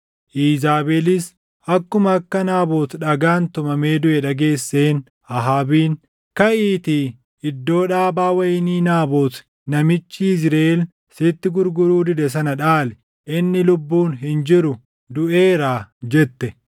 Iizaabelis akkuma akka Naabot dhagaan tumamee duʼe dhageesseen Ahaabiin, “Kaʼiitii iddoo dhaabaa wayinii Naabot namichi Yizriʼeel sitti gurguruu dide sana dhaali. Inni lubbuun hin jiru; duʼeeraa” jette.